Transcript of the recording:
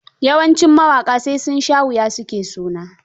Yawancin mawaƙa sai sun sha wuya su ke suna.